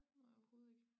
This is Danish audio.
Nej overhovedet ikke